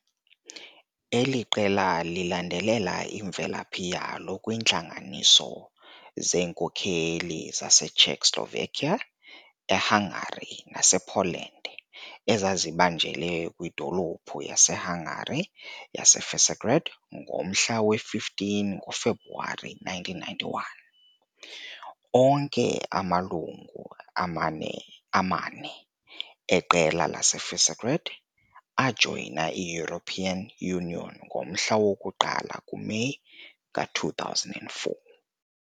Eli qela lilandelela imvelaphi yalo kwiintlanganiso zeenkokeli zaseCzechoslovakia, eHungary nasePoland ezazibanjelwe kwidolophu yaseHungary yaseVisegrád ngomhla we-15 ngoFebruwari 1991. Onke amalungu amane eQela leVisegrád ajoyina i-European Union ngomhla woku-1 kuMeyi ka-2004.